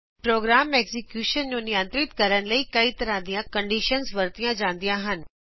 programme execution ਨੂੰ ਨਿਅੰਤ੍ਰਿਤ ਕਰਨ ਲਈ ਕਈ ਤਰਹਾ ਦੀਆ ਕਂਡਿਸ਼ਨਸ ਵਰਤੀਆਂ ਜਾਂਦੀਆ ਹਨ